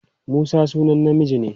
Musa sunan namiji ne.